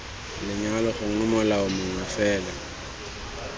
lenyalo gongwe molao mongwe fela